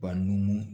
Wa numu